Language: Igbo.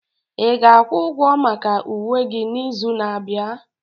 Ị ga-akwụ ụgwọ maka uwe gị n'izu na-abịa?